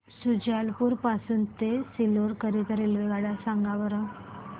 शुजालपुर पासून ते सीहोर करीता रेल्वेगाड्या सांगा बरं